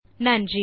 நன்றி